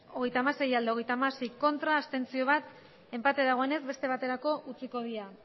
hogeita hamasei bai hogeita hamasei ez bat abstentzio enpate dagoenez beste baterako utziko dira